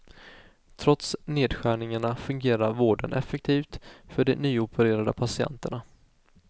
Trots nedskärningarna fungerar vården effektivt för de nyopererade patienterna.